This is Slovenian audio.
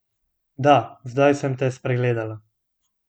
Da, zdaj sem te spregledala.